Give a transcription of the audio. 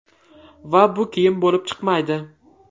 Va bu kiyim bo‘lib chiqmaydi.